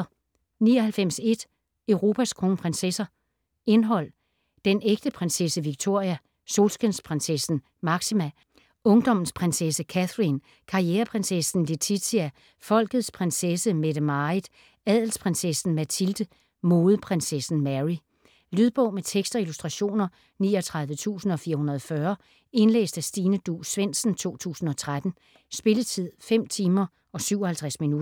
99.1 Europas kronprinsesser Indhold: Den ægte prinsesse Victoria ; Solskinsprinsessen Máxima ; Ungdommens prinsesse Catherine ; Karriereprinsessen Letizia ; Folkets prinsesse Mette-Marit ; Adelsprinsessen Mathilde ; Modeprinsessen Mary. Lydbog med tekst og illustrationer 39440 Indlæst af Stine Duus Svendsen, 2013. Spilletid: 5 timer, 57 minutter.